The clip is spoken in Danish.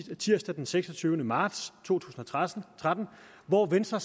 tirsdag den seksogtyvende marts to tusind og tretten hvor venstre